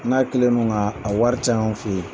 N'a kelen do ŋaa a wɔri te anw fe ye.